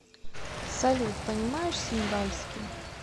салют понимаешь сингальский